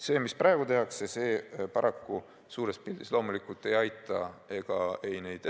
See, mis praegu tehakse, paraku suures pildis loomulikult neid ettevõtteid ei aita.